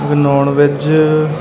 ਇੱਕ non veg --